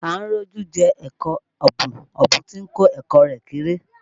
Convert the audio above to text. À ń rọ́jú jẹ ẹ̀kọ ọ̀bùn, ọ̀bùn tún ń kọ ẹ̀kọ́ rẹ̀ kéré